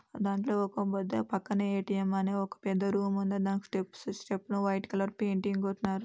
దాంట్లో ఒక పక్కనే ఏ_టి_ఎం అని ఒక పెద్ద రూమ్ ఉంది దానికి స్టెప్స్--స్టెప్ వైట్ కలర్ పెయింటింగ్ కొట్టినార్.